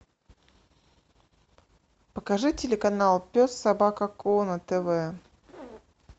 покажи телеканал пес собака ко на тв